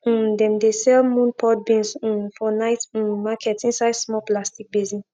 um dem dey sell moon pod beans um for night um market inside small plastic basin